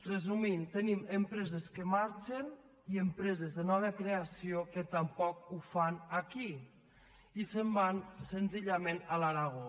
resumint tenim empreses que marxen i empreses de nova creació que tampoc ho fan aquí i se’n van senzi·llament a l’aragó